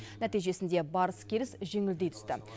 нәтижесінде барыс келіс жеңілдей түсті